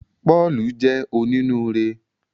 Pọ́ọ̀lù jẹ́ onínúure